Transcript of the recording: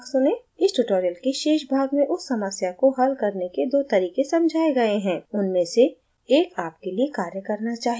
इस tutorial के शेष भाग में उस समस्या को हल करने के दो तरीके समझाए गए हैं उनमें से एक आपके लिए कार्य करना चाहिए